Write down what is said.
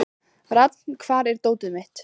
Rafn, hvar er dótið mitt?